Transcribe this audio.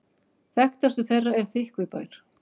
Þekktastur þeirra er Þykkvibær.